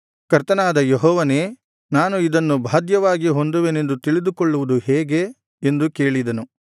ಕರ್ತನಾದ ಯೆಹೋವನೇ ನಾನು ಇದನ್ನು ಬಾಧ್ಯವಾಗಿ ಹೊಂದುವೆನೆಂದು ತಿಳಿದುಕೊಳ್ಳುವುದು ಹೇಗೆ ಎಂದು ಕೇಳಿದನು